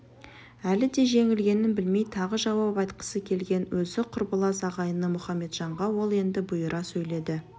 әлі де жеңілгенін білмей тағы жауап айтқысы келген өзі құрбылас ағайыны мұхаметжанға ол енді бұйыра сөйледі